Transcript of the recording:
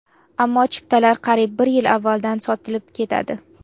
Ammo chiptalar qariyb bir yil avvaldan sotilib ketadi.